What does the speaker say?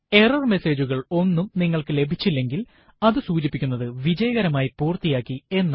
error message കൾ ഒന്നും നിങ്ങൾക്ക് ലഭിച്ചില്ലെങ്കിൽ അതു സൂചിപ്പിക്കുന്നത് വിജയകരമായി പൂര്ത്തിയാക്കി എന്നാണ്